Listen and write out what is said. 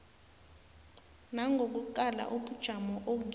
nangokuqala ubujamo okibo